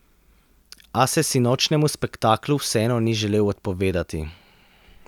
A se sinočnjemu spektaklu vseeno ni želel odpovedati.